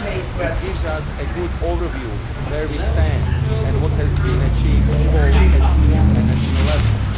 It give us a good overview of where we stand and what has been achieved both at EU and national levels.